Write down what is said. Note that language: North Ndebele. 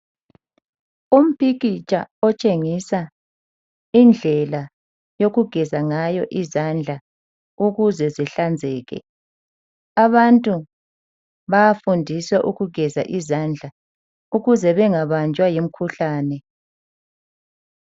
Umpikitsha otshengisa indlela yokugeza ngayo izandla ukuze zihlanzeke. Abantu bayafundiswa ukugeza izandla ukuze bangabanjwa yimikhuhlane.